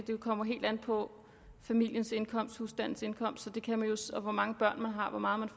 det kommer helt an på familiens indkomst husstandens indkomst hvor mange børn man har hvor meget man